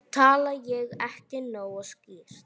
Tala ég ekki nógu skýrt?